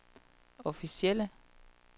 officielle